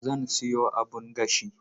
Zan sayo abun gashi.